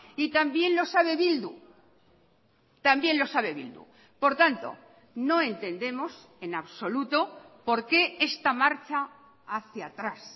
y también lo sabe bildu también lo sabe bildu por tanto no entendemos en absoluto por qué esta marcha hacia atrás